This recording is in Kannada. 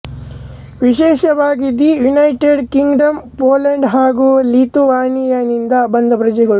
ವಿಶೇಷವಾಗಿ ದಿ ಯುನೈಟೆಡ್ ಕಿಂಗ್ಡಂ ಪೋಲಂಡ್ ಹಾಗು ಲಿಥುವಾನಿಯದಿಂದ ಬಂದ ಪ್ರಜೆಗಳು